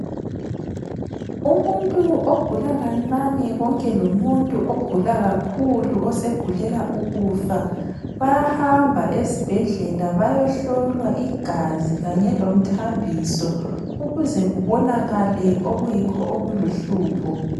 Umuntu ogula kancane konke lomuntu ogula kakhulu osegulela ukufa bayahamba esibhedlela bayohlolwa igazi kanye lomthambiso ukuze kubonakale okuyikho okuluhlupho.